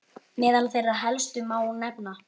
Meðal þeirra helstu má nefna